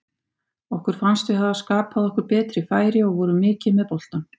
Okkur fannst við hafa skapað okkur betri færi og vorum mikið með boltann.